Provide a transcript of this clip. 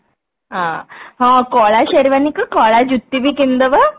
ଆଁ ହଁ କଳା Sherwani କୁ କଳା ଜୁତି ବି କିଣି ଦବା